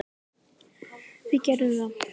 Við gerðum það.